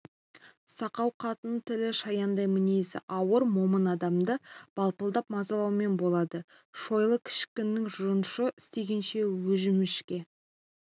сақау қатынның тілі шаяндай мінезі ауыр момын адамды балпылдап мазалаумен болады шойлы кішінің жұмышын істегенше өжімішке